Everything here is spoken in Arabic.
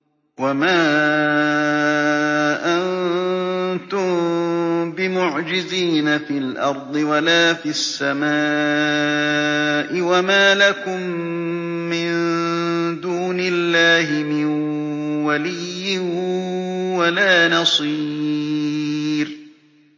وَمَا أَنتُم بِمُعْجِزِينَ فِي الْأَرْضِ وَلَا فِي السَّمَاءِ ۖ وَمَا لَكُم مِّن دُونِ اللَّهِ مِن وَلِيٍّ وَلَا نَصِيرٍ